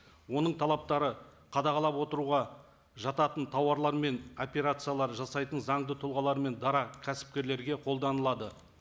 оның талаптары қадағалап отыруға жататын тауарлар мен операциялар жасайтын заңды тұлғалар мен дара кәсіпкерлерге қолданылады